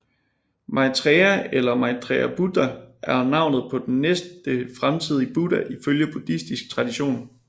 Maitreya eller Maitreya Buddha er navnet på den næste fremtidige Buddha ifølge buddhistisk tradition